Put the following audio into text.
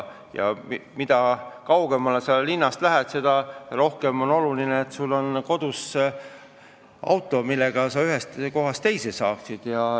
Mida kaugemal linnast sa elad, seda rohkem on oluline, et sul on kodus auto, millega sa ühest kohast teise saad.